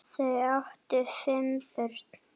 Þau áttu fimm börn.